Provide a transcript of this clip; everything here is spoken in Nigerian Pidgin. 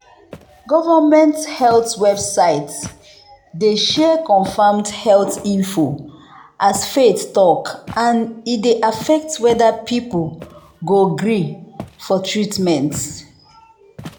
government health website dey share confirmed health info as faith talk and e dey affect whether people go gree for treatment.